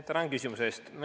Tänan küsimuse eest!